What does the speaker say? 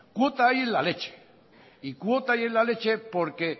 cuota hay en la leche y cuota hay en la leche porque